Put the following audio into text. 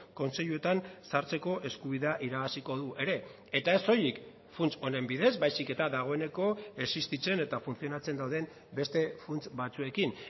kontseiluetan sartzeko eskubidea irabaziko du ere eta ez soilik funts honen bidez baizik eta dagoeneko existitzen eta funtzionatzen dauden beste funts batzuekin